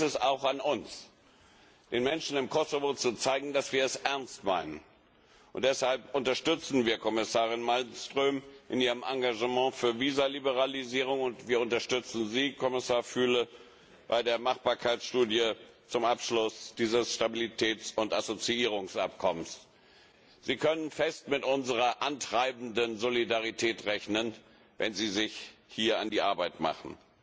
Jetzt ist es auch an uns, den Menschen im Kosovo zu zeigen, dass wir es ernst meinen. Deshalb unterstützen wir Kommissarin Malmström in ihrem Engagement für die Visaliberalisierung, und wir unterstützen Sie, Kommissar Füle, bei der Machbarkeitsstudie zum Abschluss des Stabilitäts und Assoziierungsabkommens. Sie können fest mit unserer antreibenden Solidarität rechnen, wenn Sie sich hier an die Arbeit machen.